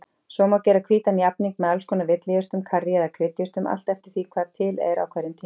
Svo má gera hvítan jafning með alls konar villijurtum, karrí eða kryddjurtum, allt eftir því hvað til er á hverjum tíma.